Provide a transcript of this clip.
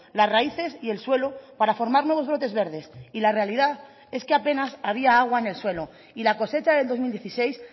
las raíces y el suelo para formar nuevos brotes verdes y la realidad es que apenas había agua en el suelo y la cosecha del dos mil dieciséis